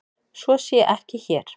Svo sé ekki hér.